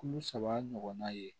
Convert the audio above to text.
Kilo saba ɲɔgɔnna ye